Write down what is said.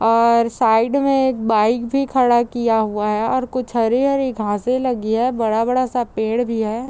और साइड में एक बाइक भी खड़ा किया हुआ है और कुछ हरे हरे घासें लगी है बड़ा बड़ा सा पेड़ भी है |